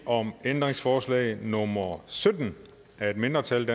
om ændringsforslag nummer sytten af et mindretal